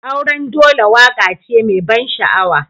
Auren dole waƙa ce mai ban sha'awa.